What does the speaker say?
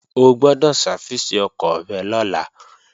O gbọ́dọ̀ sáfìsì ọkọ̀ rẹ lọ́la!